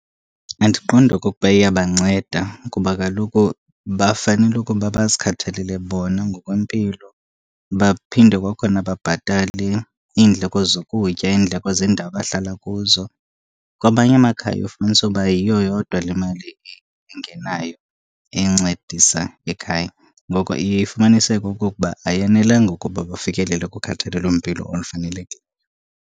Andiqondi okokuba iyabanceda kuba kaloku bafanele ukuba bazikhathalele bona ngokwempilo, baphinde kwakhona babhatale iindleko zokutya, iindleko zendawo abahlala kuzo. Kwamanye amakhaya uye ufumanise uba yiyo yodwa le mali ingenayo encedisa ekhaya, ngoko iye ifumaniseke okokuba ayanelanga ukuba bafikelele kukhathalelo mpilo olufanelekileyo.